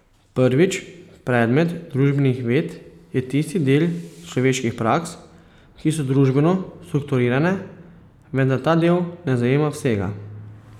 Prvič, predmet družbenih ved je tisti del človeških praks, ki so družbeno strukturirane, vendar ta del ne zajema vsega.